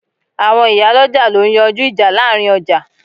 Àwọn ìyálọ́jà ló ń yanjú ìjà láàrin ọjà